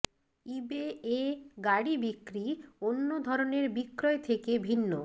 ইবে এ গাড়ি বিক্রি অন্য ধরনের বিক্রয় থেকে ভিন্ন